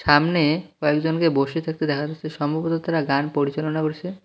সামনে কয়েকজনকে বসে থাকতে দেখা যাচ্ছে সম্ভবত তারা গান পরিচালনা করছে।